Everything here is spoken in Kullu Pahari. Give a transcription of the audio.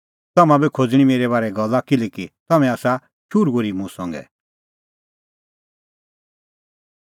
तम्हां बी खोज़णीं मेरै बारै गल्ला किल्हैकि तम्हैं आसा शुरू ओर्ही मुंह संघै